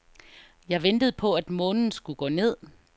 Jeg ventede på, at månen skulle gå ned.